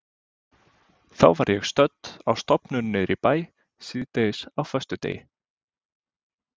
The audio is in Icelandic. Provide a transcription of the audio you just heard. Þá var ég stödd á stofnun niðri í bæ síðdegis á föstudegi.